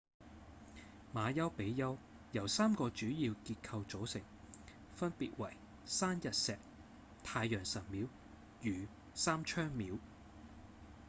馬丘比丘由三個主要結構組成分別為栓日石、太陽神廟與三窗廟